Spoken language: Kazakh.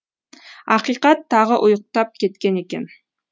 ақиқат тағы ұйықтап кеткен екен